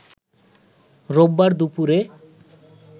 রোববার দুপুরে